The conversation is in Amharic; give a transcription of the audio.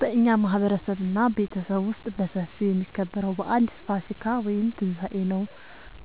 በእኛ ማህበረሰብ እና ቤተሰብ ውስጥ በሰፊው የሚከበረው በአል ፋሲካ(ትንሳኤ) ነው።